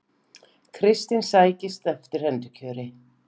Kristinn sækist eftir endurkjöri